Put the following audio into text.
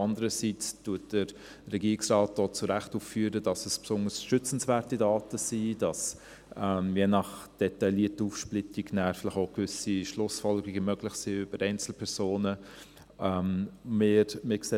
Andererseits führt der Regierungsrat auch zu Recht auf, dass es sich um besonders schützenswerte Daten handelt und dass je nach detaillierter Aufsplitterung auch gewisse Schlussfolgerungen über Einzelpersonen möglich sind.